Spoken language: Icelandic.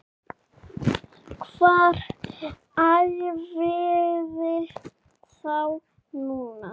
Hvar æfiði þá núna?